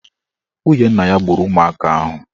Nwunye nna ya gburu ụmụaka ahụ.